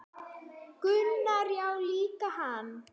Gunnar: Já líka hann